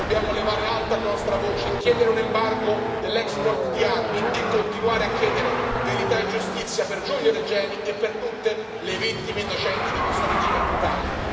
Dobbiamo levare alta la nostra voce, chiedere un embargo dell'export di armi e continuare a chiedere verità e giustizia per Giulio Regeni e per tutte le vittime innocenti di questo regime brutale.